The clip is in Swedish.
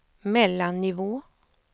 mellannivå